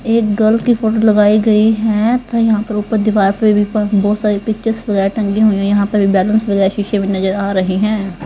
एक गर्ल की फोटो लगाई गई है तो यहां पर ऊपर दीवार पे भी बहुत सारी पिक्चर्स वगैरह टंगी हुई है यहां पर भी बैलेंस वगैरह शीशे में नजर आ रही हैं.